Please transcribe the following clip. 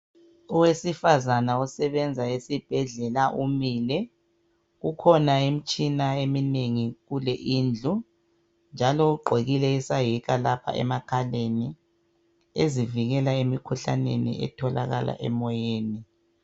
Owesifazana osebenza esibhedlela umile. Kukhona imitshina eminengi kule idlu njalo ugqokile isayeka lapha emakhaleni ezivikela emikhuhlaneni etholakala emoyeni.